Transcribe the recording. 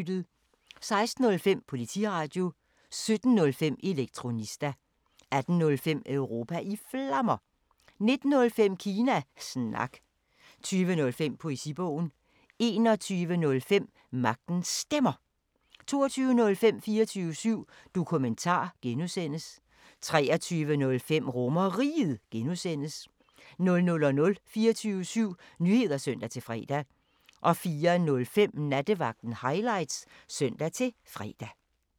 16:05: Politiradio 17:05: Elektronista 18:05: Europa i Flammer 19:05: Kina Snak 20:05: Poesibogen 21:05: Magtens Stemmer 22:05: 24syv Dokumentar (G) 23:05: RomerRiget (G) 00:00: 24syv Nyheder (søn-fre) 04:05: Nattevagten Highlights (søn-fre)